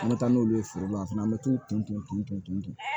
An bɛ taa n'olu ye feere la a fana an bɛ t'u ton ton ton ton ton ton